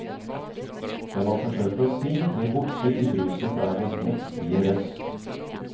Det man forsøker å si, blir borte i bruset fra hennes mektige røst.